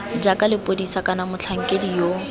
jaaka lepodisa kana motlhankedi yo